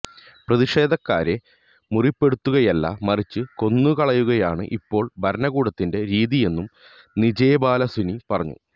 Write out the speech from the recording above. പ്രതിഷേധക്കാരെ മുറിപ്പെടുത്തുകയല്ല മറിച്ച് കൊന്നുകളയുകയാണ് ഇപ്പോള് ഭരണകൂടത്തിന്റെ രീതിയെന്നും നിച്ചേബാലസുനി പറയുന്നു